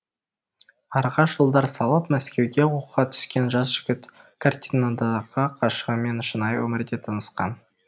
араға жылдар салып мәскеуге оқуға түскен жас жігіт картинадағы ғашығымен шынайы өмірде танысқан